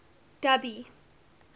dubby